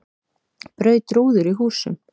Braut rúður í húsum